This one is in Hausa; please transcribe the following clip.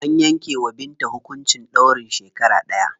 An yanke wa Binta hukuncin ɗaurin shekara ɗaya.